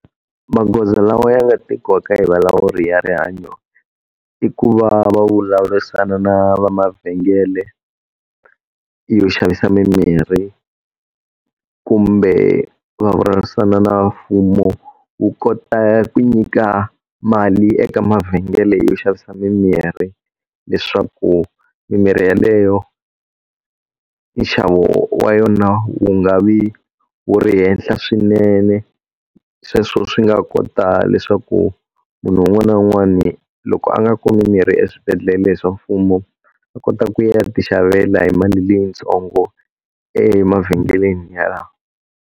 Magoza lawa ya nga tekiwaka hi valawuri ya rihanyo i ku va va vulavurisana na vamavhengele yo xavisa mimirhi, kumbe vulavurisana na mfumo wu kota ku nyika mali eka mavhengele yo xavisa mimirhi leswaku mimirhi yeleyo, nxavo wa yona wu nga vi wu ri henhla swinene. Sweswo swi nga kota leswaku munhu un'wana na un'wana loko a nga kumi mirhi eswibedhlele swa mfumo a kota ku ya ti xavela hi mali leyintsongo emavhengeleni yalawa.